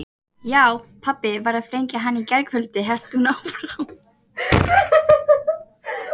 Já, pabbi varð að flengja hann í gærkvöldi hélt hún áfram.